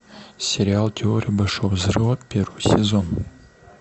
сериал теория большого взрыва первый сезон